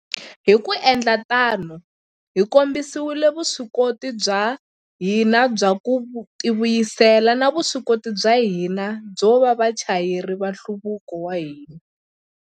Hi ku endla tano, hi kombisile vuswikoti bya hina bya ku tivuyisela na vuswikoti bya hina byo va vachayeri va nhluvuko wa hina.